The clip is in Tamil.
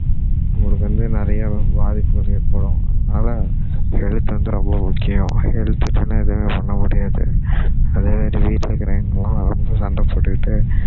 உங்களுக்கு வந்து நிறைய பாதிப்புகள் ஏற்படும் அதனால health வந்து ரொம்ப முக்கியம் health இல்லன்னா எதுவும் பண்ண முடியாது அதே மாதிரி வீட்டுல இருக்கவங்கலாம் வந்து சண்டை போட்டுக்கிட்டு